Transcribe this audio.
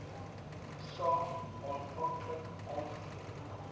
saak aanvanklik aangevoer